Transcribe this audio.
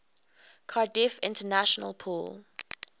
cardiff international pool